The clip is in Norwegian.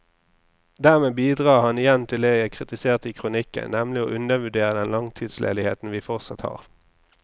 Dermed bidrar han igjen til det jeg kritiserte i kronikken, nemlig å undervurdere den langtidsledigheten vi fortsatt har.